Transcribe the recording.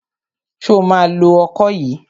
Ṣo ma lo ọkọ yìí?